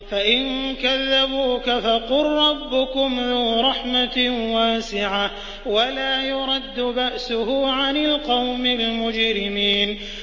فَإِن كَذَّبُوكَ فَقُل رَّبُّكُمْ ذُو رَحْمَةٍ وَاسِعَةٍ وَلَا يُرَدُّ بَأْسُهُ عَنِ الْقَوْمِ الْمُجْرِمِينَ